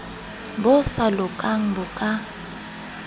bo sa lokang bo ka